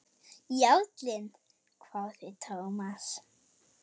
Jarlinn? hváði Thomas.